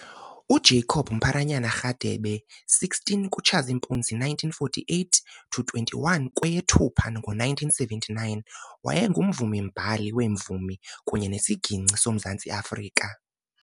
UJacob Mpharanyana Radebe 16 kuTshazimpuzi 1948 - 21 kweyeThupha ngo1979 wayeyimvumi-mbhali wemvumi kunye nesiginci soMzantsi Afrika.